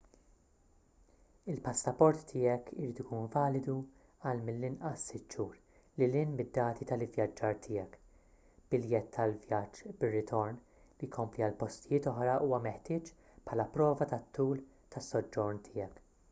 il-passaport tiegħek irid ikun validu għal mill-inqas 6 xhur lil hinn mid-dati tal-ivvjaġġar tiegħek. biljett tal-vjaġġ bir-ritorn/li jkompli għal postijiet oħra huwa meħtieġ bħala prova tat-tul tas-soġġorn tiegħek